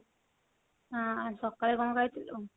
ହଁ ସକାଳେ କଣ ଖାଇଥିଲୁ?